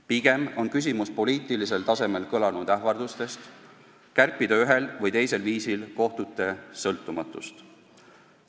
Pigem on küsimus poliitilisel tasemel kõlanud ähvardustes kärpida ühel või teisel viisil kohtute sõltumatust.